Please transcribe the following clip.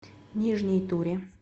нижней туре